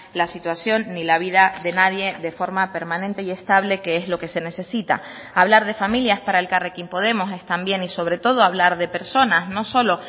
la situación ni la vida de nadie de forma permanente y estable que es lo que se necesita hablar de familias para elkarrekin podemos es también y sobre todo hablar de personas no solo